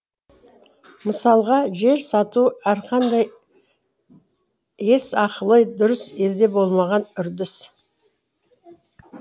мысалға жер сату әрқандай ес ақылы дұрыс елде болмаған үрдіс